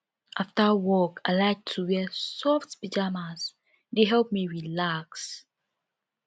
after work i like to wear soft pajamas e dey help me relax